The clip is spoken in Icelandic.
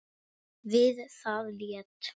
Við það lét